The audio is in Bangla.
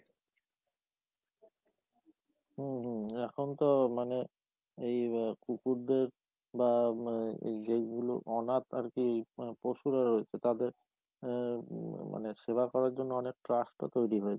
হম, হম, এখন তো মানে এই কুকুরদের বা, এই যে গুলো অনাথ আর কি পশুরা রয়েছে তাদের অ্যা মানে সেবা করার জন্য অনেক trust ও তৈরি হয়েছে।